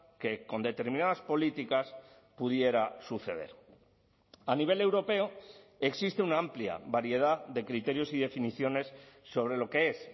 que con determinadas políticas pudiera suceder a nivel europeo existe una amplia variedad de criterios y definiciones sobre lo que es